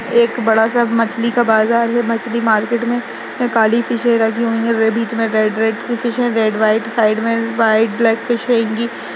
एक बड़ा सा मछली का बाजार है मछली मार्केट मे ये काली फिशे रखजी हुई और बीच मे रेड - रेड सी फिश है और वह साइड मे व्हाइट ब्लेक फिश ।